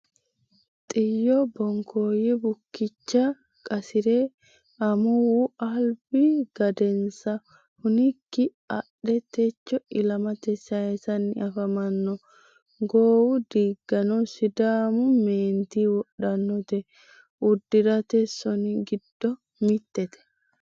Xiyo bokkoyo bukicha qasire amuwu albi gadensa hunikkini adhe techo ilamate saysanni afamano goowu diigano sidaamu meenti wodhanote uddirate soni giddo mitete.